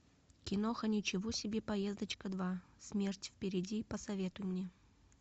киноха ничего себе поездочка два смерть впереди посоветуй мне